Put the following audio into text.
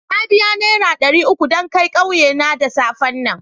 Na biya nera dari uku dan kai ƙauye na da safen nan.